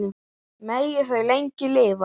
Megi þau lengi lifa.